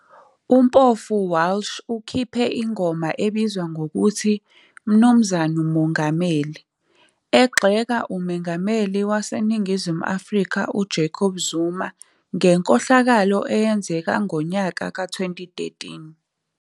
UMpofu-Walsh ukhiphe ingoma ebizwa ngokuthi 'Mnu Mongameli', egxeka uMengameli waseNingizimu Afrika uJacob Zuma ngenkohlakalo eyenzeka ngo-2013.